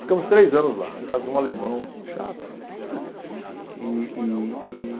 Ficamos três anos lá, a casa de um alemão chato. e e e